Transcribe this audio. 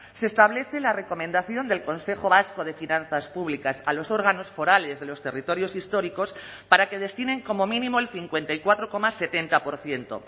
se establece la recomendación del consejo vasco de finanzas públicas a los órganos forales de los territorios históricos para que destinen como mínimo el cincuenta y cuatro coma setenta por ciento